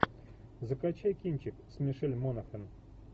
закачай кинчик с мишель монахэн